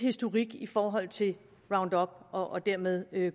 historik i forhold til roundup og dermed